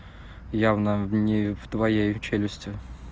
явно не в твоей челюсти